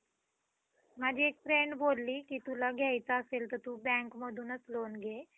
माझी एक friend बोलली की तुला घ्यायचं असेल तर तू bankमधूनच loan घे.